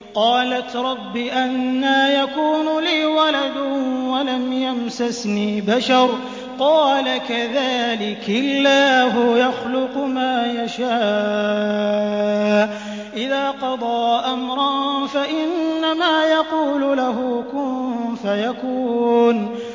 قَالَتْ رَبِّ أَنَّىٰ يَكُونُ لِي وَلَدٌ وَلَمْ يَمْسَسْنِي بَشَرٌ ۖ قَالَ كَذَٰلِكِ اللَّهُ يَخْلُقُ مَا يَشَاءُ ۚ إِذَا قَضَىٰ أَمْرًا فَإِنَّمَا يَقُولُ لَهُ كُن فَيَكُونُ